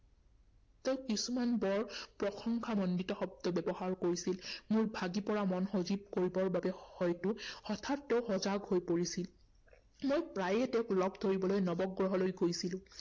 তেওঁ কিছুমান বৰ প্ৰশংসামণ্ডিত শব্দ ব্যৱহাৰ কৰিছিল, মোৰ ভাগি পৰা মন সজীৱ কৰিবৰ বাবে হয়তো হঠাৎ তেওঁ সজাগ হৈ পৰিছিল। মই প্ৰায়ে তেওঁক লগ ধৰিবলৈ নৱগ্ৰহলৈ গৈছিলো।